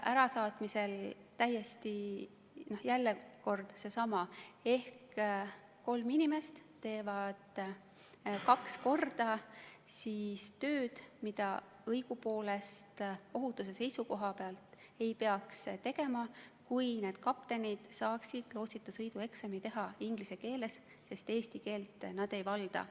Ärasaatmisel on jälle kord seesama ehk kolm inimest teevad kaks korda tööd, mida õigupoolest ohutuse seisukohalt ei peaks tegema, kui need kaptenid saaksid lootsita sõidu eksami teha inglise keeles, sest eesti keelt nad ei valda.